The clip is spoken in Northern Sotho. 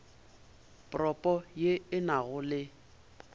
propo ye e nago le